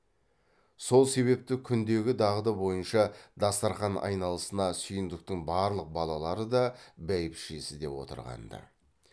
сол себепті күндегі дағды бойынша дастарқан айналасына сүйіндіктің барлық балалары да бәйбішесі де отырған ды